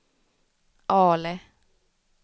Ale